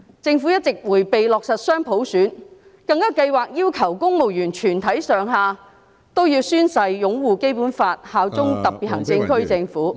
政府一直迴避落實"雙普選"，更計劃要求公務員全體上下均要宣誓擁護《基本法》，效忠特別行政區政府......